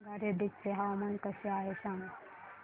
संगारेड्डी चे हवामान कसे आहे सांगा